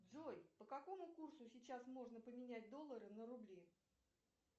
джой по какому курсу сейчас можно поменять доллары на рубли